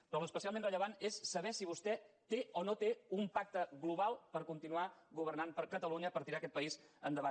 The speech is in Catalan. però l’especialment rellevant és saber si vostè té o no té un pacte global per continuar governant per catalunya per tirar aquest país endavant